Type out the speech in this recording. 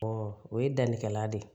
o ye dannikɛla de ye